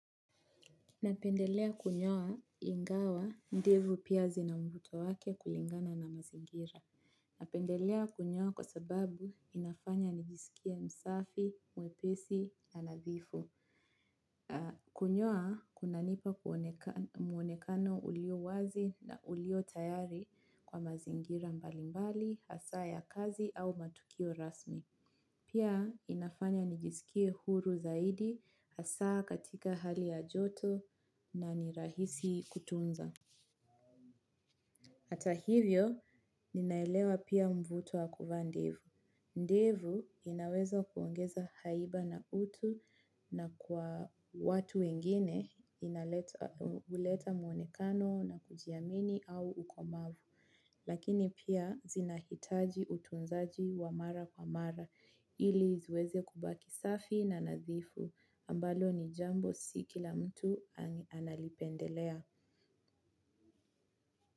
Napendelea kunyoa ingawa ndevu pia zina mvuto wake kulingana na mazingira. Napendelea kunyoa kwa sababu inafanya nijisikie msafi, mwepesi, na nadhifu. Kunyoa kunanipa muonekano ulio wazi na ulio tayari kwa mazingira mbalimbali hasa ya kazi au matukio rasmi. Pia inafanya nijisikie huru zaidi asaa katika hali ya joto na nirahisi kutunza. Ata hivyo, ninaelewa pia mvuto wa kuvaa ndevu. Ndevu inaweza kuongeza haiba na utu na kwa watu wengine huleta muonekano na kujiamini au uko mavu. Lakini pia zinahitaji utunzaji wa mara kwa mara ili ziweze kubaki safi na nazifu ambalo ni jambo ambalo si kila mtu analipendelea.